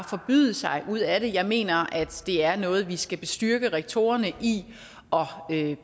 forbyde sig ud af det jeg mener at det er noget vi skal bestyrke rektorerne i og